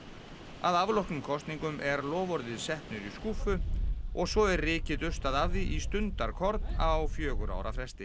að afloknum kosningum er loforðið sett niður í skúffu og svo er rykið dustað af því í stundarkorn á fjögurra ára fresti